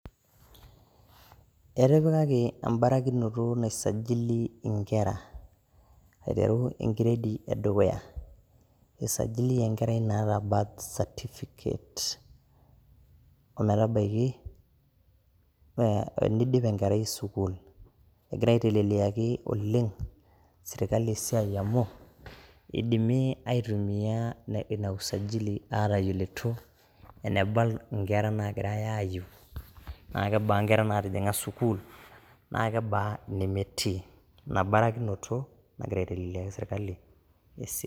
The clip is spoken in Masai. Etipikaki embarakinoto nai sajili nkera, aiteru e gredi e dukuya. I sajili enkerai naata birth certificate o metabaiki e teneidip enkerai sukuul. Egira aiteleliaki oleng sirkali esiai amu idimi aitumia ina usajili aatayiolito eneba nkera naagirai aayiu, naa kebaa nkera naatijing`a sukuul, naa kebaa ine metii. Ina barakinoto nagira aiteleliaki sirkali esiai.